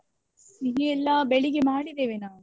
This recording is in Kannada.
ಸಿಹಿ ಎಲ್ಲ ಬೆಳಿಗ್ಗೆ ಮಾಡಿದ್ದೇವೆ ನಾವು.